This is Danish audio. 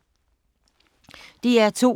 DR2